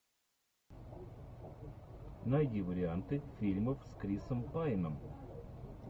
найди варианты фильмов с крисом пайном